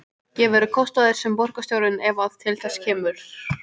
Gefurðu kost á þér sem borgarstjóri ef að til þess kemur?